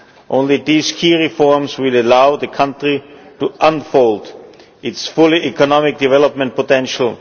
Only these key reforms will allow the country to unfold its full economic development potential.